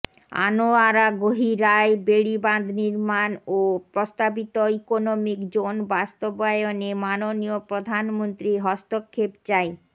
আনোয়ারা গহিরায় বেড়িবাঁধ নির্মাণ ও প্রস্তাবিত ইকোনোমিক জোন বাস্তবায়নে মাননীয় প্রধানমন্ত্রীর হস্তক্ষেপ চাই